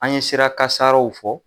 An ye sira kasaraw fɔ